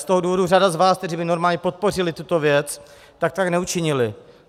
Z toho důvodu řada z vás, kteří by normálně podpořili tuto věc, tak tak neučinili.